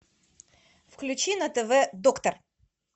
включи на тв доктор